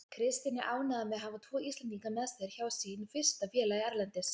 Kristinn er ánægður með að hafa tvo Íslendinga með sér hjá sínu fyrsta félagi erlendis.